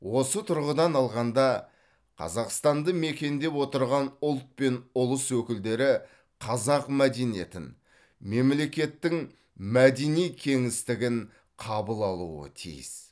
осы тұрғыдан алғанда қазақстанды мекендеп отырған ұлт пен ұлыс өкілдері қазақ мәдениетін мемлекеттің мәдени кеңістігін қабыл алуы тиіс